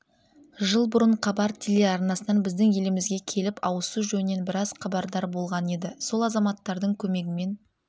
жыл бұрын хабар телеарнасынан біздің елімізге келіп ауызсу жөнінен біраз хабардар болған еді сол азаматтардың көмегімен